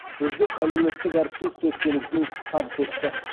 үздік әлеуметтік әріптес төсбелгісін табыс етті